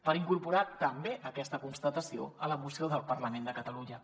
per incorporar també aquesta constatació a la moció del parlament de catalunya